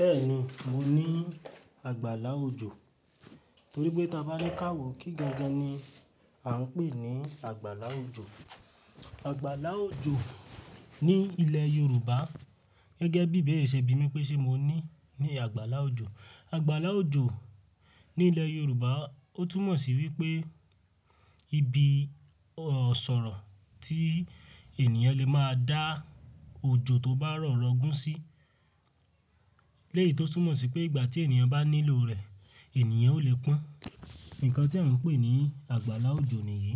Bẹ́ẹ̀ni, mo ní àgbàlá òjò. Nítorí pé tí a bá ní káwò kí gangan ni à ń pè ní àgbàlá òjò. Àgbàlá òjò ní ilẹ̀ Yorùbá gẹ́gẹ́ bí ibere ṣẹbi mí pé ṣe mo ní ní àgbàlá òjò. Àgbàlá òjò ní ilẹ̀ Yorùbá ó túnmọ̀ sí wípé ibi ò-sọ̀rọ̀ tí ènìyàn lè máa dá òjò tó bá rọ̀ rọgún sí. Leyì tó túmọ̀ sí pé ìgbà tí ènìyàn bá nílò rẹ̀, ènìyàn ò lè pọ́n. Ǹkan tí à ń pè ní àgbàlá òjò nìyí.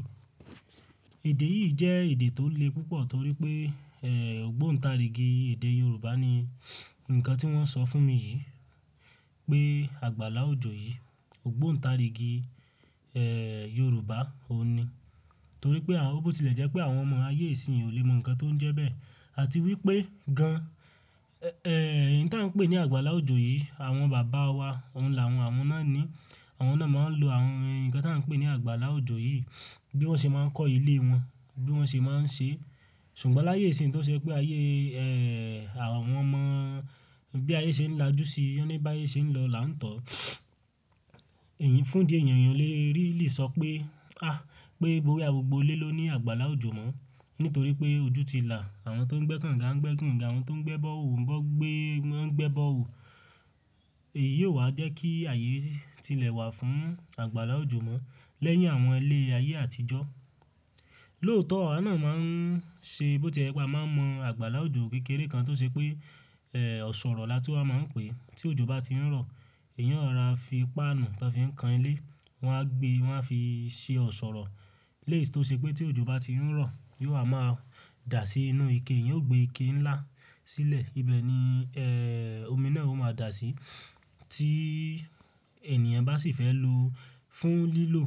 Èdè yìí jẹ́ èdè tó le púpọ̀ torí pé, ẹ́, ògbóǹta ríìgì èdè Yorùbá ni ǹkan tí wọ́n sọ fún mi yìí pé àgbàlá òjò yìí ògbóǹta ríìgì, ẹ́, Yorùbá òun ni. Torí pé à ó bó tilẹ̀ jẹ́ pé àwọn ọmọ ayé ìsinsìnyí ò lè mọ ǹkan tó ń jẹ bẹ́ẹ̀. Àti wípé gan-an, ẹ́, ǹ tí à ń pè ní àgbàlá òjò yìí, àwọn bàbá wa òun làwọn, àwọn náà ni àwọn náà máa ń lo àwọn ǹkan tí à ń pè ní àgbàlá òjò yìí bí wọ́n ṣe máa ń kọ́ ilé wọn, bí wọ́n ṣe máa ń ṣe. Ṣùgbọ́n láyé ìsinsìnyí tó ṣe pé ayé, ẹ́, àwọn ọmọ bí ayé ṣe ń lajú sí i, ọ́ní bá ayé ṣe ń lọ là ń tọ̀. Èyí fún ìdí ènìyàn òle rélì sọ pé, ah, pé bóyá gbogbo ilé ló ní àgbàlá òjò mọ́. Nítorí pé ojú ti là, àwọn tó ń gbé kànga ń gbé gínga, àwọn tó ń gbé bọ́ọ̀ho ń gbé, ń gbé bọ́ọ̀ho. Èyí o wa jẹ́ kí ayè tilẹ̀ wà fún àgbàlá òjò mọ́ lẹ́yìn àwọn ilé ayé àtijọ́. Lóòótọ́ àwa náà máa ń ṣe bó tí ẹ pé àwa máa ń mọ àgbàlá òjò kékeré kan tó ṣe pé, ẹ́, ọ̀ṣọ̀rọ̀ là tí a máa ń pè. Tí òjò bá tí ń rọ̀, èèyàn ó rọra fi páànù tó fi ń kan ilé, wọ́n á gbe wọ́n á fi ṣe ọ̀ṣọ̀rọ̀. Leyi tí ó ṣe pé tí òjò bá tí ń rọ̀, yóò wa máa dà sí inú ike, ìyẹn ó gbé ike ńlá sílẹ̀. Ibẹ̀ ni, ẹ́, omi náà ó máa dà sí. Tí ènìyàn bá sì fẹ́ lò ó fún lílò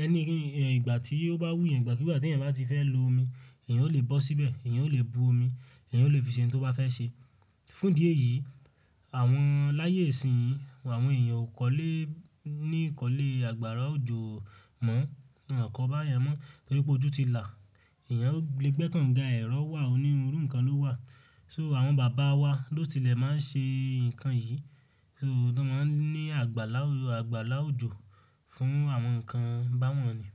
ẹni, ìgbà tí ó bá wù yín, ìgbà kí ìgbà tí ẹ̀yin bá ti fẹ́ lo omi, ẹ̀yàn ò lè bọ́ síbẹ̀, ẹ̀yàn ò lè bu omi, ẹ̀yàn ò lè fi ṣe ohun tí wọ́n bá fẹ́ ṣe. Fún ìdí èyí, àwọn láyé ìsinsìnyí àwon èèyàn ò kọ́lẹ́ ní ìkọ́lé àgbàrá òjò mọ́. Wọn ò kọ́ bá yẹn mọ́ nítorí pé ojú ti là. Ẹ̀yàn le gbé kànga, ẹ̀rọ wà oníru ǹkan ló wà. So àwọn bàbá wa ló tilẹ̀ máa ń ṣe ǹkan yìí. So wọ́n máa ń ní àgbàlá, àgbàlá òjò fún àwọn ǹkan báwọn yí.